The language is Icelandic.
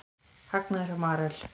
Hagnaður hjá Marel